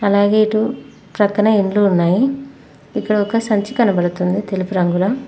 అలాగే ఇటు ప్రక్కన ఇంట్లో ఉన్నాయి ఇక్కడ ఒక సంచి కనపడుతుంది తెలుగు రంగులో.